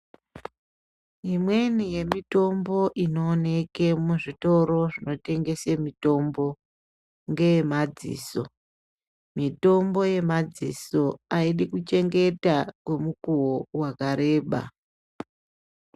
Imweni yemitombo inooneke muzvitoro zvinotengese mitombo ngeye madziso. Mitombo yemadziso haidi kuchengeta mukuvo vakareba.